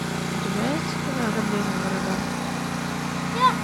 у тебя есть кино ограбление в ураган